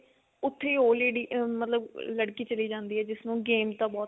ਉੱਥੇ ਉਹ lady ਆ ਮਤਲਬ ਲੜਕੀ ਚਲੀ ਜਾਂਦੀ ਆ ਜਿਸਨੂੰ games ਦਾ ਬਹੁਤ